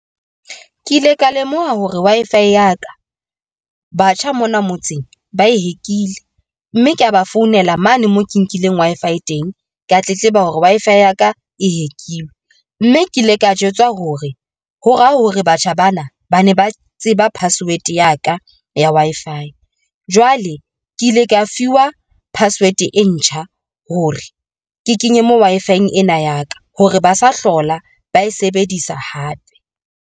Ke ile ka lemoha hore Wi-Fi ya ka batjha mona motseng ba e hack ilwe, mme kea ba founela mane moo ke nkileng Wi-Fi e teng, kea tletleba hore Wi-Fi ya ka e hack-ilwe mme ke ile ka jwetswa hore ho ra hore batjha bana ba ne ba tseba password ya ka ya Wi-Fi, jwale ke ile ka fiwa password e ntjha hore ke kenye moo Wi-Fi ena ya ka hore ba sa hlola ba e sebedisa hape.